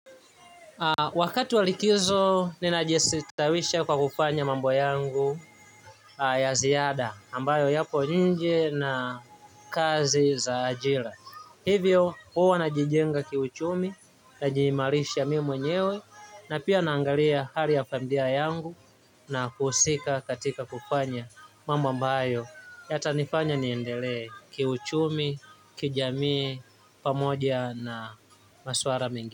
Wakati wa likizo ninajistawisha kwa kufanya mambo yangu ya ziada ambayo yapo nje na kazi za ajira hivyo, huwa najijenga kiuchumi, najiimarisha mimi mwenyewe, na pia naangalia hali ya familia yangu na kuhusika katika kufanya mambo ambayo. Yatanifanya niendelee kiuchumi, kijamii, pamoja na maswala mingi.